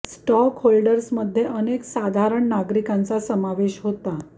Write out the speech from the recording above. stock holders मध्ये अनेक साधारण नागरीकांचा समावेश होता